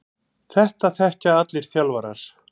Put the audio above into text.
Þetta þekkja allir þjálfarar.